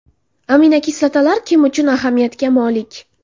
Aminokislotalar kim uchun ahamiyatga molik?